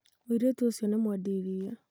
mũirĩtu ũcio nĩ mwendi iria